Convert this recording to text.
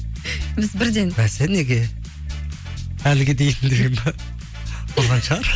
біз бірден бәсе неге әліге дейін деп па қызғаншақ